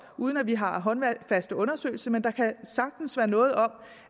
uden at vi har håndfaste undersøgelser at der sagtens kan være noget om